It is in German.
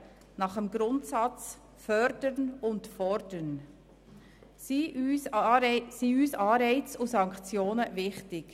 Nach dem Grundsatz «fördern und fordern» sind uns Anreize und Sanktionen wichtig.